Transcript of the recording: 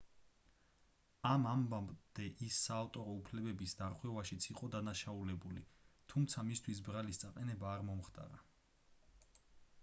ამ ამბამდე ის საავტორო უფლებების დარღვევაშიც იყო დადანაშაულებული თუმცა მისთვის ბრალის წაყენება არ მომხდარა